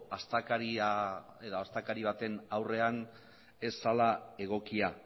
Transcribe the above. astakeria edo astakeri baten aurrean ez zela egokia